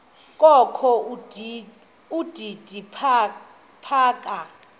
kokho udidi phaka